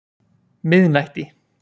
miðnætti